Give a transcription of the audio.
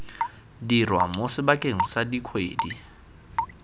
dirwa mo sebakeng sa dikgwedi